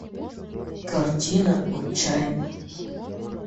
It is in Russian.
картина отчаянный